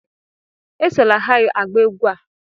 Esola ha agba egwú a!